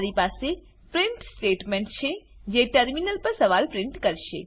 મારી પાસે print statement છે જે ટર્મિનલ પર સવાલ પ્રિન્ટ કરશે